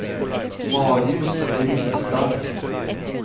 Marius Ringstad